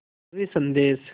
ज़रूरी संदेश